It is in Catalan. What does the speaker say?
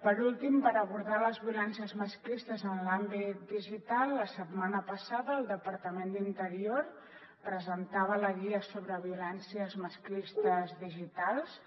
per últim per abordar les violències masclistes en l’àmbit digital la setmana passada el departament d’interior presentava la guia sobre violències masclistes digitals